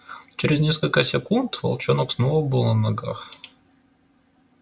через несколько секунд волчонок снова был на ногах